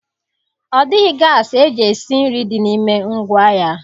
Ọ dịghị gasị eji esi nri dị n'ime ngwá ya.